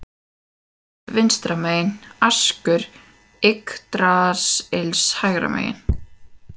Valhöll vinstra megin, askur Yggdrasils hægra megin.